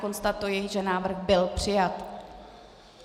Konstatuji, že návrh byl přijat.